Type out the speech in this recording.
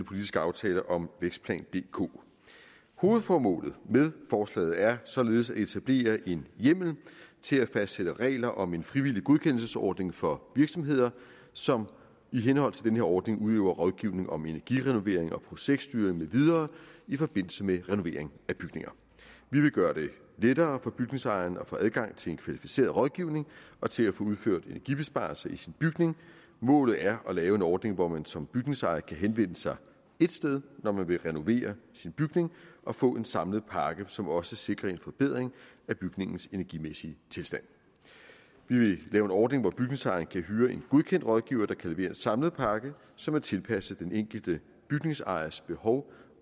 politiske aftale om vækstplan dk hovedformålet med forslaget er således at etablere en hjemmel til at fastsætte regler om en frivillig godkendelsesordning for virksomheder som i henhold til den her ordning udøver rådgivning om energirenovering og projektstyring med videre i forbindelse med renovering af bygninger vi vil gøre det lettere for bygningsejeren at få adgang til en kvalificeret rådgivning og til at få udført energibesparelser i sin bygning målet er at lave en ordning hvor man som bygningsejer kan henvende sig ét sted når man vil renovere sin bygning og få en samlet pakke som også sikrer en forbedring af bygningens energimæssige tilstand vi vil lave en ordning hvor bygningsejeren kan hyre en godkendt rådgiver der kan levere en samlet pakke som er tilpasset den enkelte bygningsejers behov